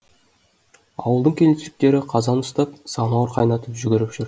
ауылдың келіншектері қазан ұстап самауыр қайнатып жүгіріп жүр